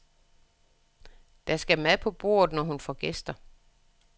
Der skal mad på bordet, når hun får gæster.